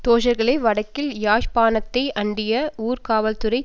தோழர்களே வடக்கில் யாழ்ப்பாணத்தை அண்டிய ஊர்காவற்துறை